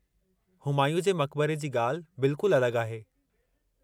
हुमायूं जे मक़बरे जी ॻाल्हि बिल्कुल अलॻि आहे।